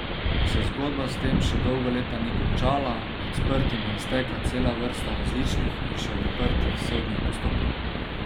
A se zgodba s tem še dolga leta ni končala, med sprtimi je stekla cela vrsta različnih in še odprtih sodnih postopkov.